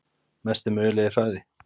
Mesti mögulegi hraði?